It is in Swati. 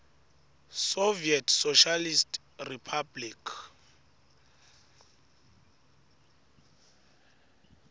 soviet socialist republic